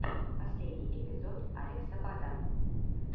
последний эпизод алекса бада